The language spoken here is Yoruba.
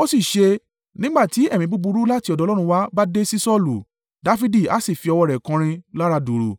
Ó sì ṣe, nígbà tí ẹ̀mí búburú láti ọ̀dọ̀ Ọlọ́run wá bá dé sí Saulu, Dafidi a sì fi ọwọ́ rẹ̀ kọrin lára dùùrù: